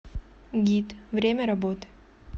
гид время работы